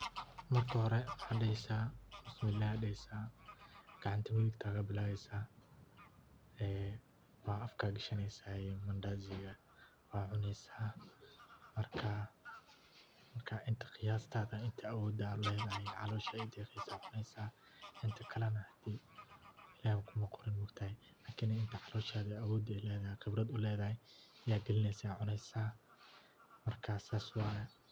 Marka hore waxa dheheysa Bismillah, gacanta midigta kabilaaweysa, afka gashaneysa mandhasiga, waa cuneysa, marka intaa qiyastada, inta awoda ad ledahay calosha way deeqeysa ayad cuneysa inta kale na illah kuma qorin maogtahay kaninka calosha inta awood ay ledahay oo qibrad uledahay ayad gelineysa oo cuneysa, markaa sas waye